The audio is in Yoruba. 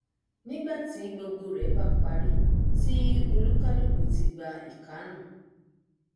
nígbàtí gbogbo rẹ bá parí tí olúkálùkù ti gba ìkárùn